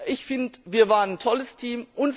Ich finde, wir waren ein tolles Team!